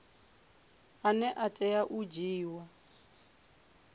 ane a tea u dzhiiwa